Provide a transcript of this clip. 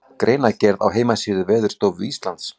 Greinargerð á heimasíðu Veðurstofu Íslands.